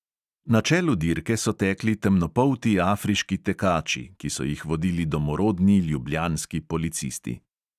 Na čelu dirke so tekli temnopolti afriški tekači, ki so jih vodili domorodni ljubljanski policisti.